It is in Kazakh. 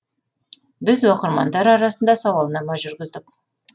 біз оқырмандар арасында сауалнама жүргіздік